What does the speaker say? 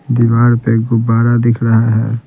दीवार पे गुब्बारा दिख रहा है।